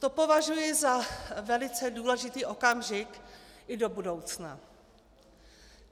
To považuji za velice důležitý okamžik i do budoucna.